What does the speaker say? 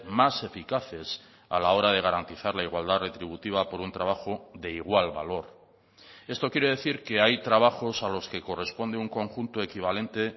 más eficaces a la hora de garantizar la igualdad retributiva por un trabajo de igual valor esto quiere decir que hay trabajos a los que corresponde un conjunto equivalente